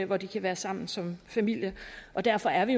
hvor de kan være sammen som familie derfor er vi